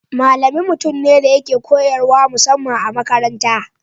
Malami mutum ne da yake koyarwa musamman a makaranta.